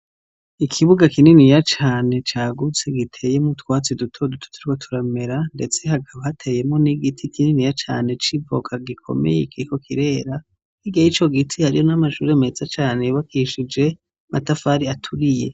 Ikibuga kininiya cane cagutse giteyemwo utwatsi duto duto turiko turamera ndetse hakaba hateyemwo n'igiti kininiya cane c'ivoka gikomeye kiriko kirera hirya yico giti hariyo n'amashuri meza cane yubakishije amatafari aturiye.